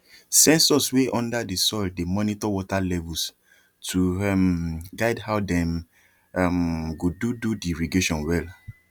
sensors wey under the soil dey monitor water levels to um guide how dem um go do do the irrigation well